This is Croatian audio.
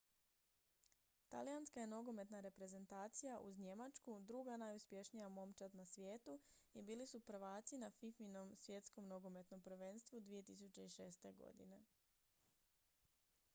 talijanska je nogometna reprezentacija uz njemačku druga najuspješnija momčad na svijetu i bili su prvaci na fifa-inom svjetskom nogometnom prvenstvu 2006. godine